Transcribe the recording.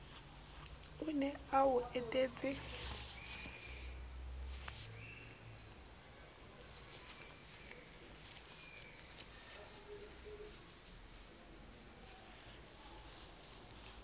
o ne a o etetse